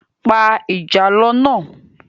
Pa ìjàlọ náà